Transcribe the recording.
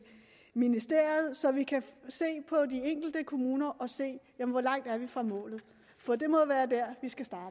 ministeriet så vi kan se på de enkelte kommuner og se hvor langt vi er fra målet for det må